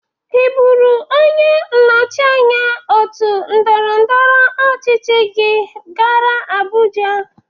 Ị bụrụ onye nnọchị anya otu ndọrọndọrọ ọchịchị gị gara Abụja?